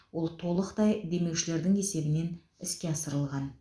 ол толықтай демеушілердің есебінен іске асырылған